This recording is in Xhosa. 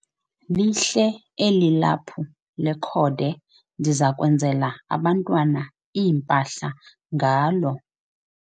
Lihle eli laphu lekhode ndiza kwenzela abantwana iimpahla ngalo.